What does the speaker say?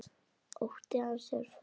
Ótti hans er fokinn.